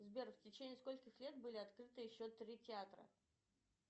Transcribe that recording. сбер в течении скольких лет были открыты еще три театра